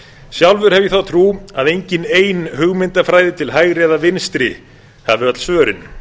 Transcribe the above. sjálfur hef ég þá trú að engin ein hugmyndafræði til hægri eða vinstri hafi öll svörin